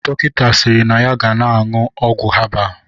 Dọkịta siri na ya ga na-aṅụ ọgwụ habal